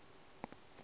le ya id ge o